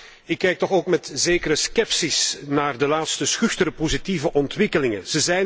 Maar ik kijk toch ook met zekere scepsis naar de laatste schuchtere positieve ontwikkelingen.